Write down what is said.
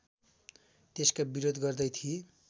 त्यसका विरोध गर्दै थिए